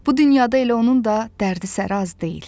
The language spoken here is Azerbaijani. bu dünyada elə onun da dərdi-səri az deyil.